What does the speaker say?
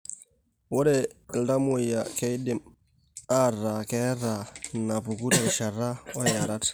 Ore iltamuoyia keidim aataa keeta inaapuku terishata oiarat.